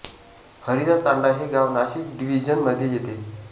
हरिचा तांडा हे गाव नाशिक डिव्हीजन मधे येते